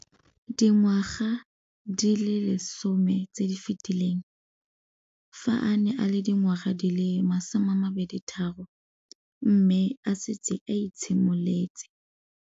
Dingwaga di le 10 tse di fetileng, fa a ne a le dingwaga di le 23 mme a setse a itshimoletse